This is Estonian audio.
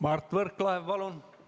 Mart Võrklaev, palun!